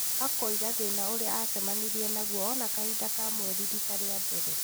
Akauga thĩna ũrĩa acemanirie naguo ona kahinda ka mweri rita rĩa mbere.